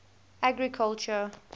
agriculture